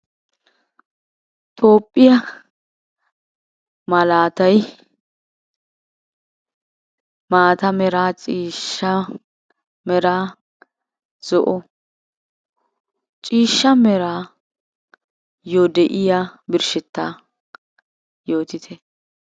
Tophphiya malaatay maata meraa ciishsha meraa zo'o. Ciishsha meraayyo de'iya birshshettaa yootite.